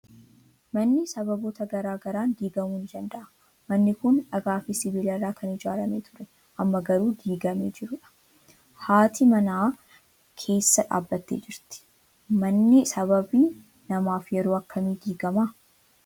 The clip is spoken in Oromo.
Manni sababoota garaa garaan diigamuu ni danda'a. Manni kun dhagaa fi sibiila irraa kan ijaaramee ture, amma garuu diigamee jiru dha. Haati manaas keessa dhaabbattee jirti. Manni sababii namaaf yeroo akkamii diigama?